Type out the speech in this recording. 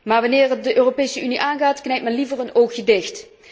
Maar wanneer het de Europese Unie aangaat knijpt men liever een oogje dicht.